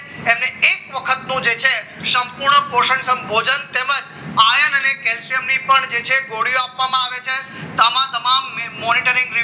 એમને એક વખતનો જે છે સંપૂર્ણ પોષણ સંબોધન તેમજ iron અને કેલ્શિયમની જે છે ગોળીઓ આપવામાં આવે છે તમામ monitoring